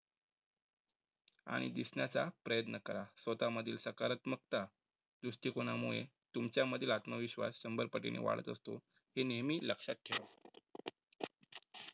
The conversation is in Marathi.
आणि दिसण्याचा प्रयत्न करा. स्वतःमधील सकारात्मकता दृष्टिकोनामुळे तुमच्या मधील आत्मविश्वास शंभर पटीने वाढत असतो. हे नेहमी लक्षात ठेवा.